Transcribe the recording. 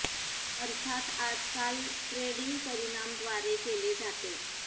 अर्थात आज काल ट्रेडिंग परिणाम द्वारे केले जाते